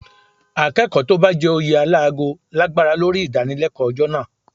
Akẹ́kọ̀ọ́ tó bá jẹ oyè alágo lágbára lórí ìdánilẹ́kọ̀ọ́ ọjọ́ náà